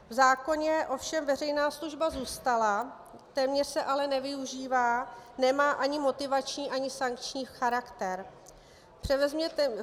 V zákoně ovšem veřejná služba zůstala, téměř se ale nevyužívá, nemá ani motivační ani sankční charakter.